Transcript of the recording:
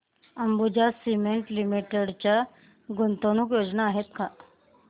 Ambuja cement limited च्या गुंतवणूक योजना आहेत का